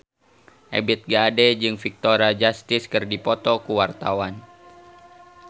Ebith G. Ade jeung Victoria Justice keur dipoto ku wartawan